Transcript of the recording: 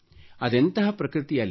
ಅದೆಂತಹ ಪ್ರಕೃತಿ ಅಲ್ಲಿ